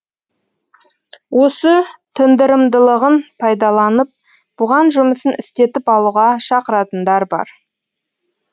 осы тындырымдылығын пайдаланып бұған жұмысын істетіп алуға шақыратындар бар